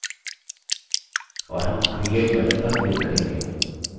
और हम create button पर click करेंगे